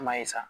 An m'a ye sa